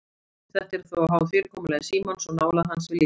Þetta er þó háð fyrirkomulagi símans og nálægð hans við líkamann.